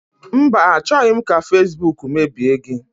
Mba, achọghị m ka fasibuuku mebie gị.